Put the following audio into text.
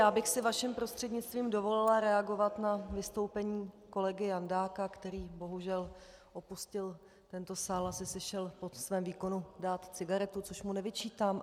Já bych si vaším prostřednictvím dovolila reagovat na vystoupení kolegy Jandáka, který, bohužel, opustil tento sál, asi si šel po svém výkonu dát cigaretu, což mu nevyčítám.